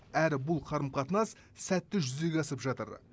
әрі бұл қарым қатынас сәтті жүзеге асып жатыр